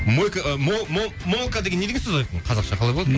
мойка мол мол молка деген не деген сөз айқын қазақша қалай болады